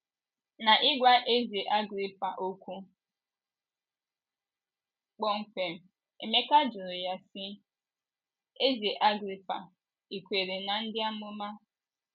N’ịgwa eze Agrịpa okwu kpọmkwem, Emeka jụrụ ya sị: “ Eze Agrịpa, ì kwere ná Ndị Amụma? ”